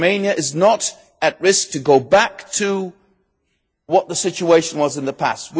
Romania is not at risk of going back to what the situation was in the past.